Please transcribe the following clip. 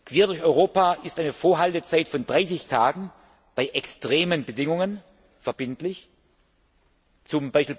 Quer durch Europa ist eine Vorhaltezeit von 30 Tagen bei extremen Bedingungen verbindlich, z.